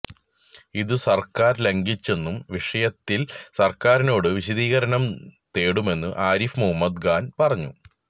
ഇത് സര്ക്കാര് ലംഘിച്ചെന്നും വിഷയത്തില് സര്ക്കാറിനോട് വിശദീകരണം തേടുമെന്നും ആരിഫ് മുഹമ്മദ് ഖാന് പറഞ്ഞു